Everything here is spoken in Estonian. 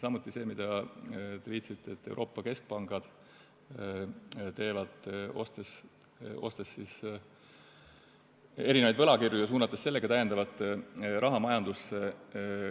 Te viitasite sellele, mida Euroopa keskpangad teevad, ostes võlakirju ja suunates sellega täiendavat raha majandusse.